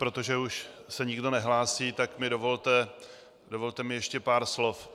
Protože už se nikdo nehlásí, tak mi dovolte ještě pár slov.